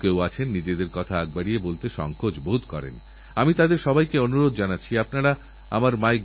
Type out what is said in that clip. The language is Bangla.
যেসব জীবানু যক্ষ্মা ও ম্যালেরিয়াছড়ায় সেগুলি দ্রুত গতিতে নিজেদের মধ্যে এতটাই পরিবর্তন আনছে যাতে ঔষধের কর্মক্ষমতানষ্ট হয়ে যায়